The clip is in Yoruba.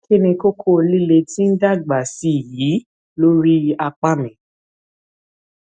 kí ni kókó líle tí ń dàgbà sí i yìí lórí apá mi